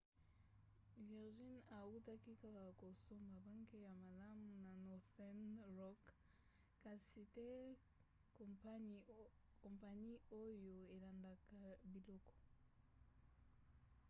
virgin autaki kaka kosomba 'banke ya malamu' ya northern rock kasi te kompani oyo elandelaka biloko